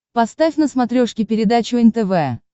поставь на смотрешке передачу нтв